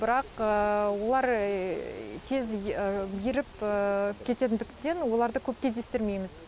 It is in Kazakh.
бірақ олар тез еріп кететіндіктен оларды көп кездестірмейміз